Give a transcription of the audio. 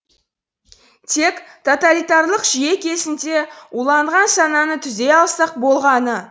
тек тоталитарлық жүйе кезінде уланған сананы түзей алсақ болғаны